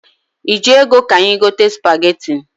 I ji ego ka anyị gote spageti?